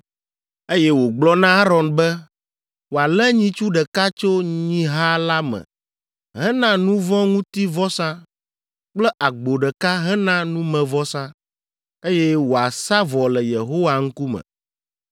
eye wògblɔ na Aron be wòalé nyitsu ɖeka tso nyiha la me hena nu vɔ̃ ŋuti vɔsa kple agbo ɖeka hena numevɔsa, eye wòasa vɔ le Yehowa ŋkume.